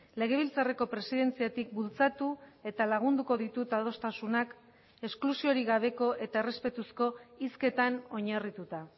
legebiltzarreko presidentziatik bultzatu eta lagunduko ditut adostasunak esklusiorik gabeko eta errespetuzko hizketan oinarrituta